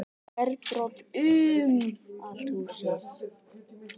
Glerbrot um allt húsið